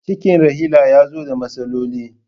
Cikin Rahila ya zo da matsaloli.